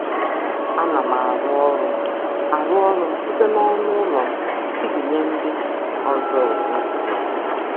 Ana m arụ ọrụ m arụ ọrụ site n'ọnụ ụlọ m iji nye ndị ọzọ ohere zuru oke.